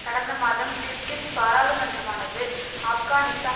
கடந்தமாதம் Kyrgyz பாரளுமன்றமானது ஆப்கானிஸ்தான்